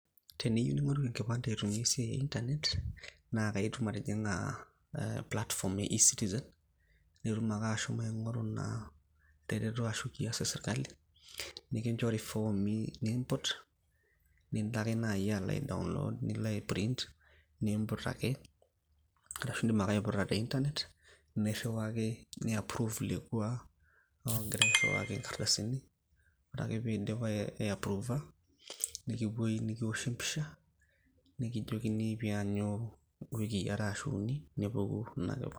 Teniyieu ning`oru enkipande aitumiya esiai e internet naa itum atijing`a platform e e-citizen. Nitum ake ashomo aing`oru naa tereto ashu kiyas e sirkali nikinchori ifoomi nimput nilo ake naaji alo ai download nilo ai print nimput ake. Ashu idim ake aiputa te internet nirriwaki ni approve lekwa loogirai airriwaki nkardasini. Ore ake pee idip ai approve nikipuoi nikiwoshi e mpisha nikijokini pee iyanyu iwikii are ashu uni nepuku ina kipande.